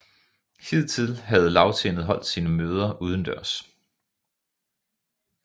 Hidtil havde Lagtinget holdt sine møder udendørs